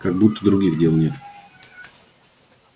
как будто других дел нет